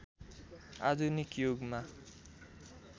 आधुनिक युगमा